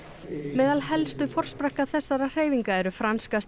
meðal helstu forsprakka þessarar hreyfinga eru franska